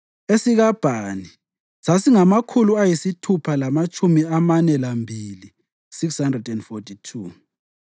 esikaBhani sasingamakhulu ayisithupha lamatshumi amane lambili (642),